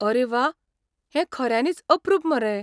आरे वा! हें खऱ्यांनीच अप्रूप मरे.